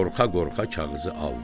Qorxa-qorxa kağızı aldı.